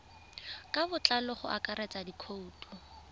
ka botlalo go akaretsa dikhoutu